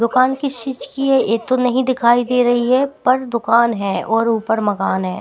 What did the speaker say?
दुकान है किस चीज है ये तो नही दिखाई दे रही है पर दुकान है और ऊपर मकान है।